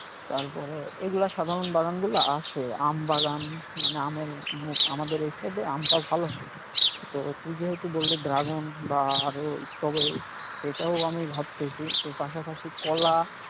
তারপরে এগুলা সাধারণ বাগানগুলা আছে, আম বাগান মানে আমের আমাদের এই side এ আমটাও ভালো হয়, তো তুই যেহেতু বললি ড্রাগন বা আরও স্ট্রবেরি তো এটাও আমি ভাবতেছি তো পাশাপাশি কলা,